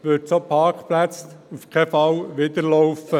Das würde solchen Parkplätzen auf keinen Fall zuwiderlaufen.